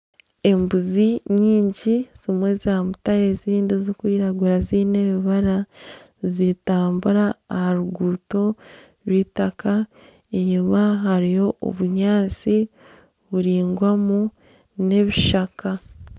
Embuzi nyingi zimwe zaamutare ezindi zirikwiragura ziine ebibara nizitambura aha ruguuto rwitaka, enyima hariyo obunyaatsi buraingwamu n'ebishaka